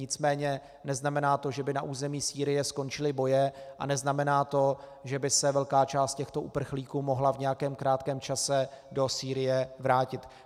Nicméně neznamená to, že by na území Sýrie skončily boje, a neznamená to, že by se velká část těchto uprchlíků mohla v nějakém krátkém čase do Sýrie vrátit.